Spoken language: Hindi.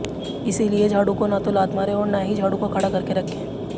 इसलिए झाडू को न तो लात मारें और न हीं झाडू को खड़ा करके रखें